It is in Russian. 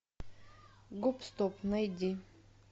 гоп стоп найди